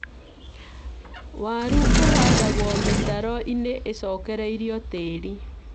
Waru ũhandagwo mĩtaro-inĩ ĩcokereirio tĩĩri